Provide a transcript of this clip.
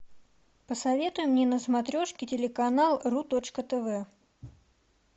посоветуй мне на смотрешке телеканал ру точка тв